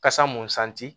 Kasa mun santi